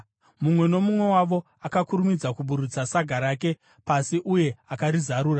Mumwe nomumwe wavo akakurumidza kuburutsa saga rake pasi uye akarizarura.